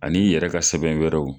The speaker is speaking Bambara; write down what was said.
An'i yɛrɛ ka sɛbɛn wɛrɛw.